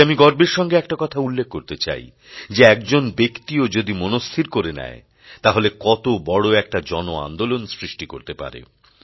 আজ আমি গর্বের সঙ্গে একটা কথা উল্লেখ করতে চাই যে একজন ব্যক্তিও যদি মনস্থির করে নেয় তাহলে কত বড় একটা জন আন্দোলন সৃষ্টি করতে পারে